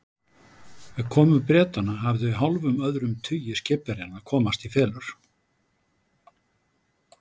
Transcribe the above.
Við komu Bretanna hafði hálfum öðrum tugi skipverjanna komast í felur.